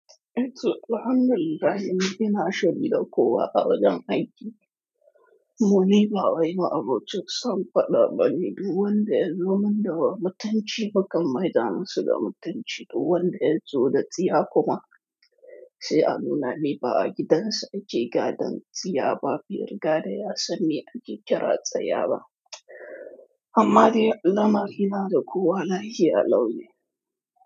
Eh Sir, la'anar Allah ne yana shari da kowa a wajen aiki. Muni ba waye ma'amurcin sun faɗa bani duwanda yanzu man da wa mutunci, bakan maida hannu da mutunci duwanda yanzu da tsiya kuma. Sai anuna ni ba a gidansa aje gadan tsiya ba, fil gara ya sani aji ƙira tsaya ba. Amma dai Allah ma yana da kowa lahiya launi.